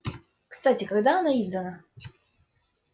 кстати когда она издана